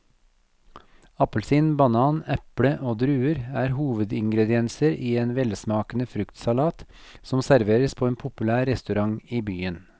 Appelsin, banan, eple og druer er hovedingredienser i en velsmakende fruktsalat som serveres på en populær restaurant i byen.